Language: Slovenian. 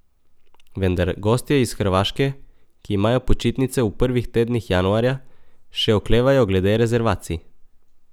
Vendar gostje iz Hrvaške, ki imajo počitnice v prvih tednih januarja, še oklevajo glede rezervacij.